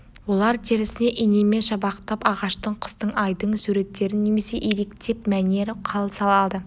олар терісіне инемен шабақтап ағаштың құстың айдың суреттерін немесе иректеп мәнер-қал салады